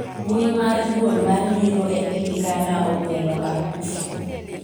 mbui mar duol mar yiero e piny Ghana ogwelo Akufo